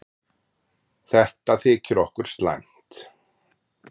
Þetta þykir okkur slæmt.